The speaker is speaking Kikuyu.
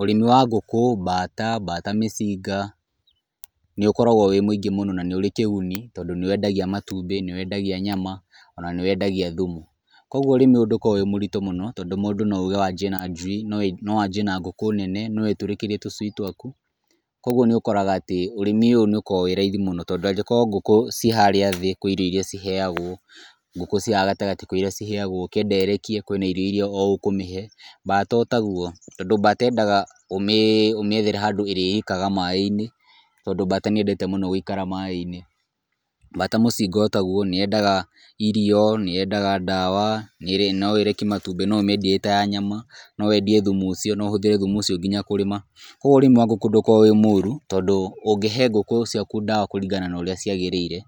Ũrĩmi wa ngũkũ, mbata, mbata mĩcinga, nĩ ũkoragwo wĩ mũingĩ mũno na nĩ uri kĩguni tondũ nĩ wendagia matumbĩ, nĩ wendagia nyama, o na nĩ wendagia thumu. Kwoguo ũrĩmi ũyũ ndũkoragwo wĩ mũritũ mũno, tondũ mũndũ no uuge wambie na njui, no wanjie na ngũkũ nene, no wĩtũrĩkĩrie tũcui twaku. Kwoguo nĩ ũkoraga atĩ ũrĩmi ũyũ nĩ ũkoragwo wĩ raithi mũno tondũ angĩkorwo ngũkũ ciĩ harĩa thĩ kwĩ irio iria ciheagwo, ngũkũ ciĩ haha gatagatĩ kwĩ iria ciheagwo, ukĩenda ĩrekie kwĩ na irio iria o ũkũmĩhe, mbata o taguo. Tondũ mbata yendaga ũmĩethere handũ ĩrĩrikaga maaĩ-inĩ tondũ mbata nĩ yendete mũno gũikara maaĩ-inĩ. Mbata mũcinga o taguo, nĩ yendaga irio, nĩ yendaga ndawa, no ĩrekie matumbĩ, no ũmĩendie ĩ ta ya nyama, no wendie thumu ũcio, no ũhũthĩre thumu ũcio nginya kũrĩma. Kwoguo urĩmi wa ngũkũ ndũkoragwo wĩ mũũru, tondũ ũngĩhe ngũkũ ciaku ndawa kũringana na ũrĩa ciagĩrĩire,